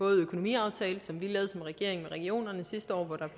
økonomiaftale som vi lavede som regering med regionerne sidste år hvor der